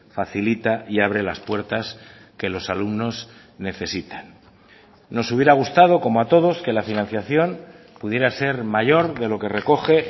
facilita y abre las puertas que los alumnos necesitan nos hubiera gustado como a todos que la financiación pudiera ser mayor de lo que recoge